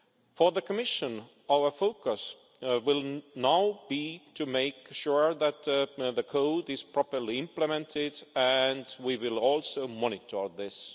For the Commission, our focus will now be to make sure that the code is properly implemented, and we will also monitor this.